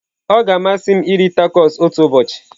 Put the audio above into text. Ọ ga-amasị m iri tacos otu ụbọchị.